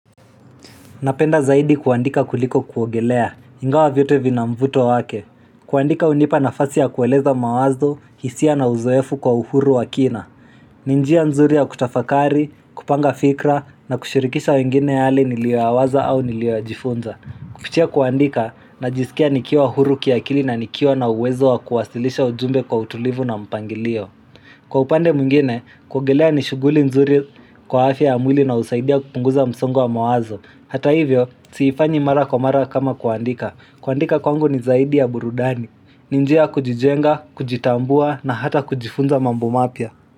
Napenda zaidi kuandika kuliko kuogelea Ingawa vyote vina mvuto wake kuandika unipa nafasi ya kueleza mawazo, hisia na uzoefu kwa uhuru wa kina ni njia nzuri ya kutafakari, kupanga fikra na kushirikisha wengine yale nilioyawaza au nilioyajifunza Kupitia kuandika najisikia nikiwa huru kiakili na nikio na uwezo wa kuwasilisha ujumbe kwa utulivu na mpangilio Kwa upande mwingine, kuogelea ni shughuli nzuri kwa afya ya mwili na usaidia kupunguza msongo wa mawazo Hata hivyo, siifanyi mara kwa mara kama kuandika. Kuandika kwangu ni zaidi ya burudani. Ni njia kujijenga, kujitambua na hata kujifunza mambo mapya.